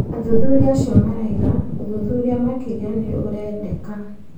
Athuthuria acio maraiga ũthuthuria makĩria nĩ ũrendeka.